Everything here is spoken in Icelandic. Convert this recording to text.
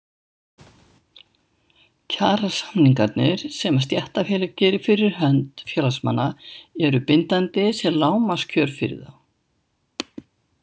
Kjarasamningarnir sem stéttarfélag gerir fyrir hönd félagsmanna eru bindandi sem lágmarkskjör fyrir þá.